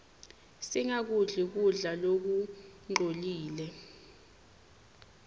singakudli kudla lokungcolile